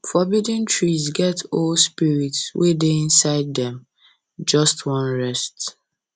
forbidden trees get old spirits wey dey inside dem just wan rest